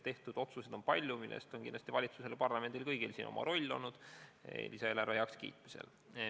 Tehtud otsuseid on palju ja valitsusel ja parlamendil on lisaeelarve heakskiitmisel oma roll olnud.